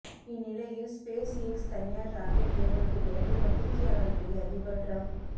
இந்நிலையில் SpaceX தனியார் rocket ஏவலுக்கு பிறகு பத்திரிக்கையாளர்களை அதிபர் டிரம்ப்